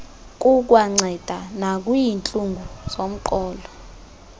kukwanceda nakwiintlungu zomqolo